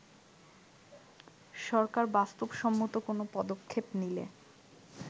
সরকার বাস্তবসম্মত কোন পদক্ষেপ নিলে